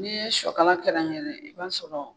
N'i ye sɔ kala kɛrɛnkɛrɛn i b'a sɔrɔ